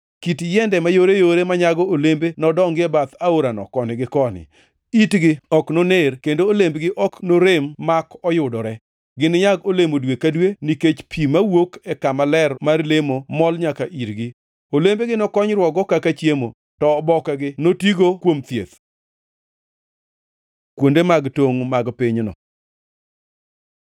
Kit yiende mayoreyore manyago olembe nodongi e bath aorano koni gi koni. Itgi ok noner, kendo olembgi ok norem mak oyudore. Gininyag olemo dwe ka dwe, nikech pi mawuok e kama ler mar lemo mol nyaka irgi. Olembegi nokonyruokgo kaka chiemo, to obokegi notigo kuom thieth.” Kuonde tongʼ mag pinyno